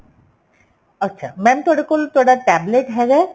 ਅੱਛਾ mam ਤੁਹਾਡੇ ਕੋਲ ਤੁਹਾਡਾ tablet ਹੈਗਾ